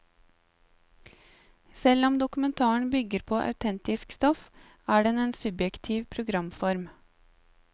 Selv om dokumentaren bygger på autentisk stoff, er den en subjektiv programform.